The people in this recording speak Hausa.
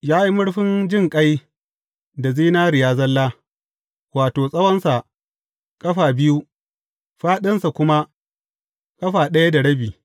Ya yi murfin jinƙai da zinariya zalla, wato, tsawonsa ƙafa biyu, fāɗinsa kuma ƙafa ɗaya da rabi.